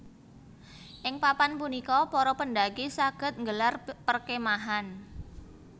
Ing papan punika para pendaki saged nggelar perkemahan